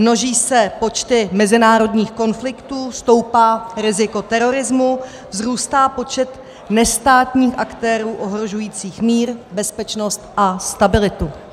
Množí se počty mezinárodních konfliktů, stoupá riziko terorismu, vzrůstá počet nestátních aktérů ohrožujících mír, bezpečnost a stabilitu.